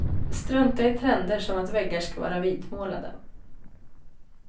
Strunta i trender som att väggar ska vara vitmålade.